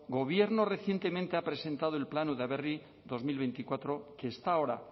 gobierno recientemente ha presentado el plan udaberri dos mil veinticuatro que está ahora